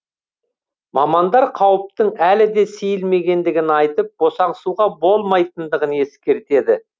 мамандар қауіптің әлі де сейілмегендігін айтып босаңсуға болмайтындығын ескертеді